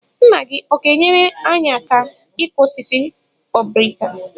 Nna gị ọ̀ ga-enyere anyị aka ịkụ osisi obrika?